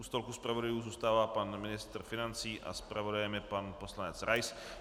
U stolku zpravodajů zůstává pan ministr financí a zpravodajem je pan poslanec Rais.